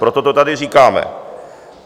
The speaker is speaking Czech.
Proto to tady říkáme.